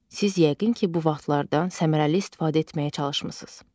Siz yəqin ki, bu vaxtlardan səmərəli istifadə etməyə çalışmısınız.